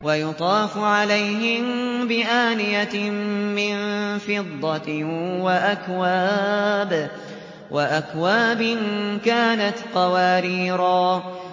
وَيُطَافُ عَلَيْهِم بِآنِيَةٍ مِّن فِضَّةٍ وَأَكْوَابٍ كَانَتْ قَوَارِيرَا